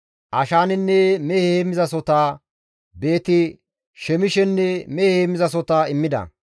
Ashaanenne mehe heemmizasohota, Beeti-Shemishenne mehe heemmizasohota immida.